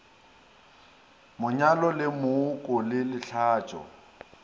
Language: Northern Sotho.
monyalo le mooko le lehlatšo